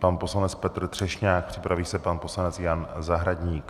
Pan poslanec Petr Třešňák, připraví se pan poslanec Jan Zahradník.